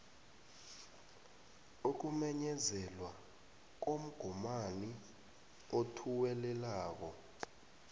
ukumenyezelwa komgomani othuwelelako